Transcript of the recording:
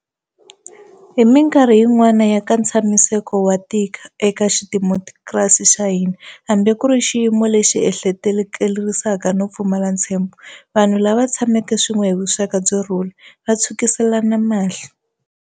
Hi mikarhi yin'wana ya nkatshamiseko wo tika eka xidemokirasi xa hina, hambi ku ri xiyimo lexi ehleketelerisaka no pfumala ntsembho, vanhu lava tshameke swin'we hi vuxaka byo rhula va tshwukiselana mahlo.